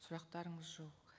сұрақтарыңыз жоқ